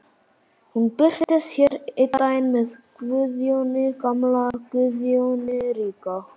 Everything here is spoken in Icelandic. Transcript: Hún birtist hér einn daginn með Guðjóni gamla, Guðjóni ríka.